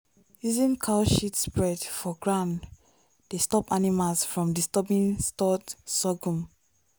using cow shit spread for ground dey stop animals from disturbing stored sorghum.